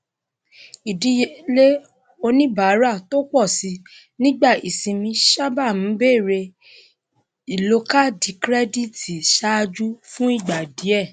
ìdíyelé oníbàárà tó pọ síi nígbà ìsinmi sábà ń bẹrẹ ìlò kaádì kirẹdítì ṣáájú fún ìgbà díè